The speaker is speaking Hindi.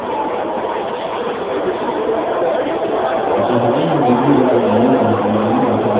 अतः हमें यह dbusername वैल्यू और हमारा dbpassword बदलने की आवश्यकता है